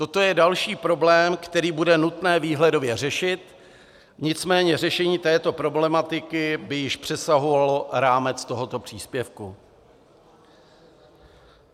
Toto je další problém, který bude nutné výhledově řešit, nicméně řešení této problematiky by již přesahovalo rámec tohoto příspěvku.